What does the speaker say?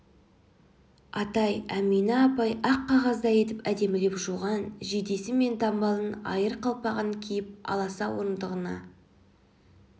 атай әмина апай ақ қағаздай етіп әдемілеп жуған жейдесі мен дамбалын айыр қалпағын киіп аласа орындығына